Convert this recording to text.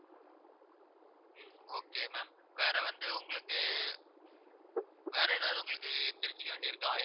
okay ma'am வேற வந்து உங்களுக்கு வேற எதாவது உங்களுக்கு தெரிஞ்சுக்க வேண்டியது இருக்கா